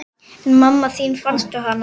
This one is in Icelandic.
En mamma þín, fannstu hana?